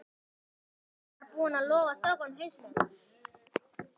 Hann var búinn að lofa strákunum heimsmeti.